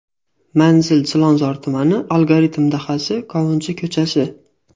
Manzil: Chilonzor tumani, Algoritm dahasi, Qovunchi ko‘chasi.